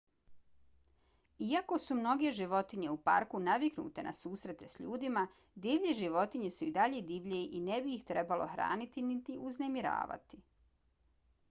iako su mnoge životinje u parku naviknute na susrete s ljudima divlje životinje su i dalje divlje i ne bi ih trebalo hraniti niti uznemiravati